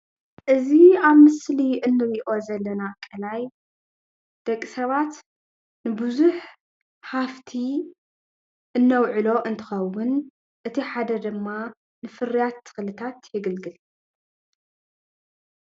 እዚ ኣብ ምስሊ እንሪኦ ዘለና ቃላይ ደቂ ሰባት ንብዙሕ ሃፍቲ እነውዕሎ እንትኸውን እቲ ሓደ ድማ ንፍርያት ተክልታት የገልግል።